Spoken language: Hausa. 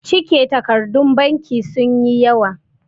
cike takardun banki sun yi yawa